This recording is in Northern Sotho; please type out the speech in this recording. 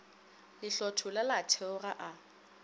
le hlothola la theoga a